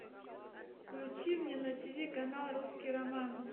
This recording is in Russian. включи мне на тиви канал русский роман